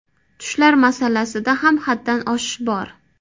Tushlar masalasida ham haddan oshish bor.